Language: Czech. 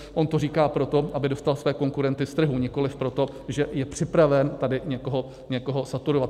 On to říká proto, aby dostal své konkurenty z trhu, nikoliv proto, že je připraven tady někoho saturovat.